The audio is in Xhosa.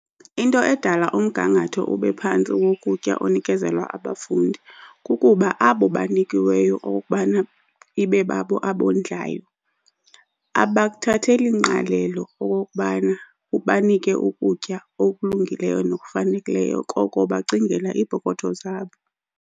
Into edala umgangatho ube phantsi wokutya onikezelwa abafundi kukuba abo banikiweyo okokubana ibe babo abondlayo abakuthatheli ngqalelo okokubana banike ukutya okulungileyo nokufanelekileyo koko bacingela iipokotho zabo.